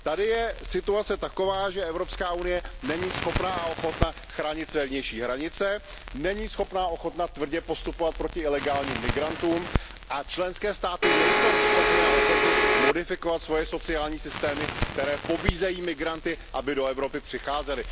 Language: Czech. Tady je situace taková, že Evropská unie není schopna a ochotna chránit své vnější hranice, není schopna a ochotna tvrdě postupovat proti ilegálním migrantům a členské státy nejsou schopny a ochotny modifikovat svoje sociální systémy, které pobízejí migranty, aby do Evropy přicházeli.